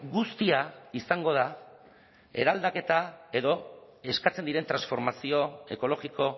guztia izango da eraldaketa edo eskatzen diren transformazio ekologiko